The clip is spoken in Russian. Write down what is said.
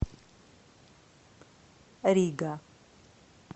рига